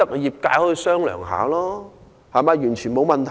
業界可以商量，完全沒有問題。